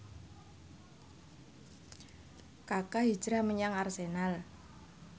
Kaka hijrah menyang Arsenal